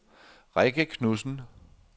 Rikke Knudsen